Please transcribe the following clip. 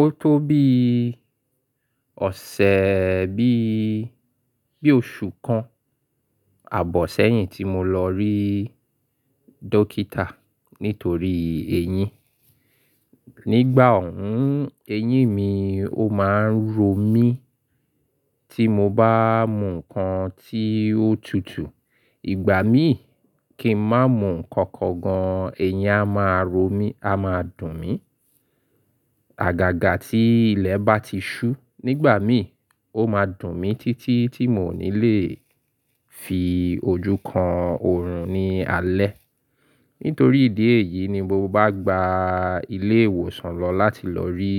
Ó tó bí ọ̀sẹ̀ bí, bí oṣù kan ààbọ̀ sẹ́yìn tí mo lọ rí dókítà nítorí eyín. Nígbà òhún, eyín mi ó máa ń ro mí tí mo bá mú nǹkan tí ó tutù. Ìgbà mí kí n má mú nǹkan kan gan, ẹyin á máa ro mí, á máa dùn mí. Àgàgà tí ilẹ̀ bá ti ṣú nígbà mí, ó máa dùn mí títí tí mò ní lè fi ojú kan oòrùn ní alẹ́. Nítorí ìdí èyí ni mo bá gba ilé ìwòsàn lọ láti lọ rí